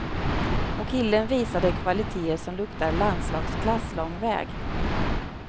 Och killen visade kvaliteter som luktar landslagsklass lång väg.